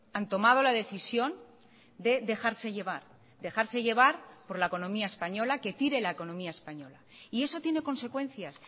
han tomado la decisión de dejarse llevar dejarse llevar por la economía española que tire la economía española y eso tiene consecuencias